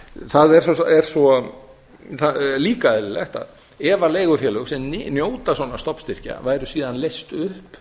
það er líka eðlilegt að ef leigufélög sem njóta svona stofnstyrkja væru síðan leyst upp